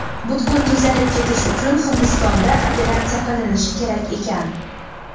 Butkul tuzalib ketishi uchun Hindistonda operatsiya qilinishi kerak ekan.